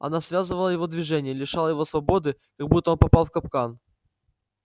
она связывала его движения лишала его свободы как будто он попал в капкан